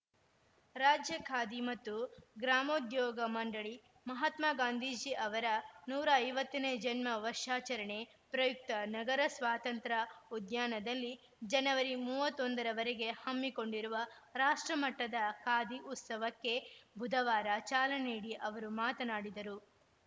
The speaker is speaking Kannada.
ರಾಜ್ಯ ಖಾದಿ ಮತ್ತು ಗ್ರಾಮೋದ್ಯೋಗ ಮಂಡಳಿ ಮಹಾತ್ಮ ಗಾಂಧೀಜಿ ಅವರ ನೂರ ಐವತ್ತನೇ ಜನ್ಮ ವರ್ಷಾಚರಣೆ ಪ್ರಯುಕ್ತ ನಗರ ಸ್ವಾತಂತ್ರ ಉದ್ಯಾನದಲ್ಲಿ ಜನವರಿ ಮೂವತ್ತ್ ಒಂದರವರೆಗೆ ಹಮ್ಮಿಕೊಂಡಿರುವ ರಾಷ್ಟ್ರಮಟ್ಟದ ಖಾದಿ ಉತ್ಸವಕ್ಕೆ ಬುಧವಾರ ಚಾಲನೆ ನೀಡಿ ಅವರು ಮಾತನಾಡಿದರು